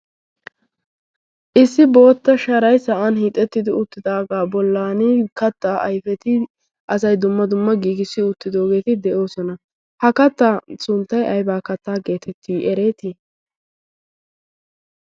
Issi bootta sharay sa'aan hiixettidi uttidaga bollan kaatta ayfetti asay dumma dumma giigissi uttidogetti de'ossona, ha kaattaa sunttay ayibba kaatta gettetti eretti?